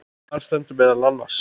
Þar stendur meðal annars